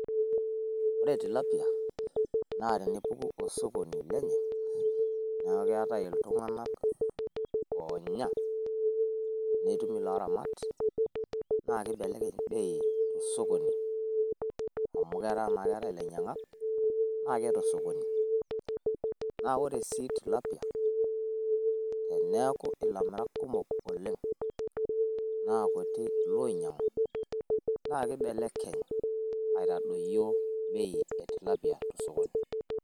Ore Tilapia naa tenepuku osokoni lenye, niaku keetae iltung`anak oonya nitum ilo ramat naa keibelekeny bei to sokoni amu etaa naa keetae ilainyiang`ak naa keetae osokoni. Naa ore sii Tilapia, teneaku ilamirak kumok oleng naa kutik iloinyiang`u naa keibelekeny aitadoyio bei e tilapia to sokoni.